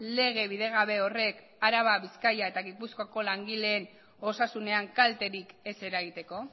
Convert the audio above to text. lege bidegabe horrek araba bizkaia eta gipuzkoako langileen osasunean kalterik ez eragiteko